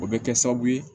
O bɛ kɛ sababu ye